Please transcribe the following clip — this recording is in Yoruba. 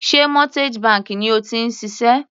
Sé mortgage bank ni o ti ń ṣiṣẹ́?